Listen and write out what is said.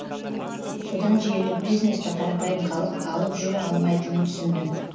содан желілік бизнесті қарапайым халық алып жүре алмайтынын түсіндім